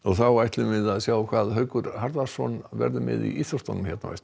þá ætlum við að sjá hvað Haukur Harðarson verður með í íþróttum á eftir